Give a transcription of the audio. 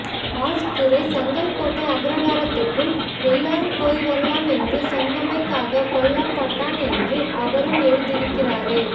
ash துரை செங்கோட்டை அக்ரகாரத்துக்குள் எல்லாரும் போய்வரலாம் என்று சொன்னமைகககக் கொல்லப்பட்டான் என்று அவரும் எழுதியிருக்கிறாரே